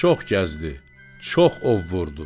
Çox gəzdi, çox ov vurdu.